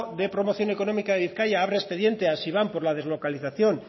de promoción económica de bizkaia abre expediente a siban por la deslocalización